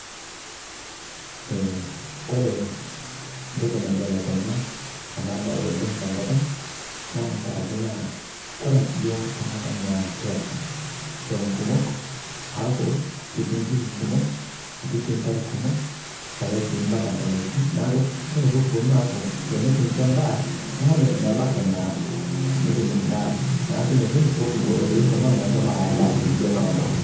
Eeh kore ntoki naibelekenya ana baya oleng to nkopang naa nkaaraki naa kore yoo to nkopang naa kietaa shouum kumook. Aaku ketii nkishuu kumook ketii sii taare kumook eetai sii mbaaka ntaamesii. Naaku kore pii kuponuu aaku kinchoo ndaa naaku meebaki naa. Naa enia shii pii ekibooyo yoo shooum ang meishoomo ayaa ndaa teedie naodoo.